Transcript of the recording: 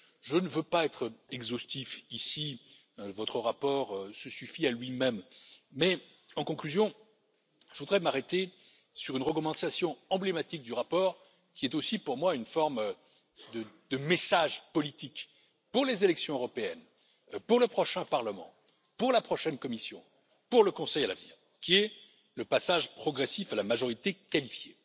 Je ne veux pas être exhaustif ici, votre rapport se suffit à lui même, mais, en conclusion, je voudrais m'arrêter sur une recommandation emblématique du rapport, qui est aussi pour moi une forme de message politique pour les élections européennes, pour le prochain Parlement, pour la prochaine Commission, pour le Conseil à l'avenir, il s'agit du passage progressif à la majorité qualifiée.